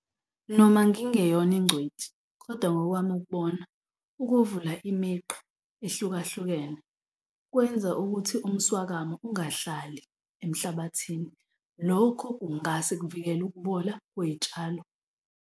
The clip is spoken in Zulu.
Noma ngingeyona ingcweti kodwa ngokwami ukubona ukuvula imigqa ehlukahlukene kwenza ukuthi umswakamo ungahlali emhlabathini, lokho kungase kuvikele ukubola kwey'tshalo.